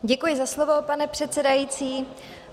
Děkuji za slovo, pane předsedající.